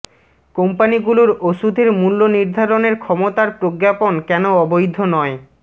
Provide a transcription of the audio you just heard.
কোম্পানিগুলোর ওষুধের মূল্য নির্ধারণের ক্ষমতার প্রজ্ঞাপণ কেন অবৈধ নয়